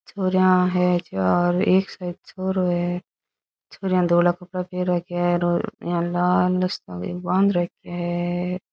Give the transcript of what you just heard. छोरिया है चार एक शायद छोरो है छोरिया धोला कपडा पहर राख्या है और लाल सो इया बांध राख्यो है।